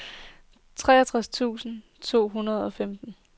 treogtredive tusind to hundrede og femten